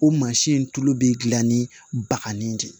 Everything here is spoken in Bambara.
O mansin in tulu bɛ dilan ni bakanni de ye